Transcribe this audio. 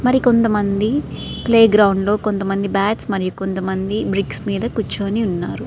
మరి కొంతమంది playground లోని కొంతమంది బ్యాట్స్ మరియు బ్రిక్స్ మీద కూర్చొని ఉన్నారు.